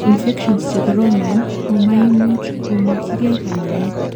infections chemokoromen komaimuch komokyigei kanyaet